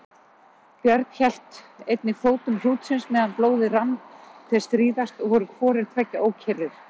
Björn hélt einnig fótum hrútsins meðan blóðið rann hve stríðast og voru hvorir tveggja ókyrrir.